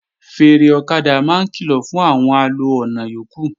Fèèrè ọ̀kadà máa ń kìlọ̀ fún àwọn alo ọ̀nà yókù